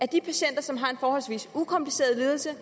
de patienter som har en forholdsvis ukompliceret lidelse